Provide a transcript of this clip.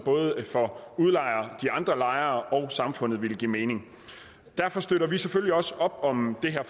for udlejer de andre lejere og samfundet ville give mening og derfor støtter vi selvfølgelig også op om det her